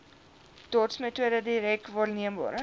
dotsmetode direk waarneembare